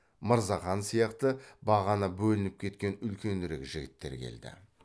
мырзахан сияқты бағана бөлініп кеткен үлкенірек жігіттер келді